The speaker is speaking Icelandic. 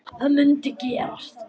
Að þetta mundi gerast.